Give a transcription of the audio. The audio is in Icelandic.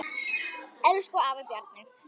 Elsku afi Bjarni.